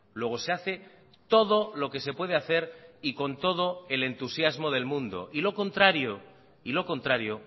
luego se hace todo lo que se puede hacer y con todo el entusiasmo del mundo y lo contrario y lo contrario